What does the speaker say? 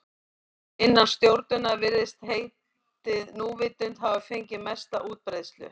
Innan stjórnunar virðist heitið núvitund hafa fengið mesta útbreiðslu.